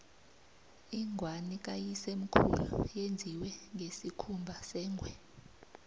ingwani kayisemkhulu yenziwe ngesikhumba sengwe